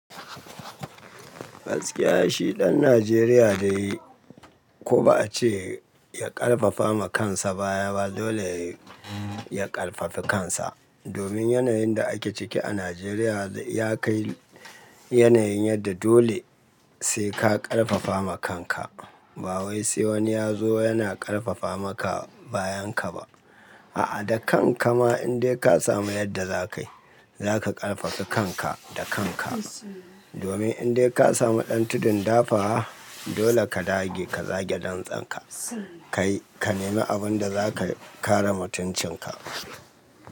Gaskiya shi ɗan Najeriya dai ko ba a ce ya ƙarfafa ma kansa baya ba dole ya ƙarfafa kansa. Domin yanayin da ake ciki a Najeriya ya kai yanayin yadda dole sai ka ƙarfafa ma kanka. Ba wai sai wani ya zo yana ƙarfafa maka bayan ka ba. A'a, da kan ka ma in dai ka samu yadda za ka yi, za ka ƙarfafa kanka da kan ka. Domin in dai ka samu ɗan tudun dafawa, dole ka dage ka zage dantsen ka. Ka nemi abin da za ka kare mutuncin ka.